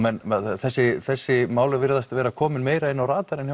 þessi þessi mál virðast vera komin meira inn á radarinn